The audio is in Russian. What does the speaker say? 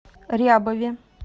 рябове